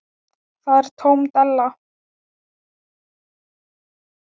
Það er tóm della.